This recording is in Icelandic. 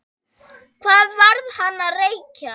Hvað var hann að reykja?